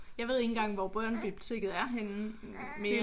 Jeg ved ikke engang hvor børnebiblioteket er henne mere